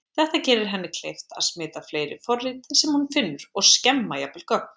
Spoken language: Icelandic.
Þetta gerir henni kleift að smita fleiri forrit sem hún finnur og skemma jafnvel gögn.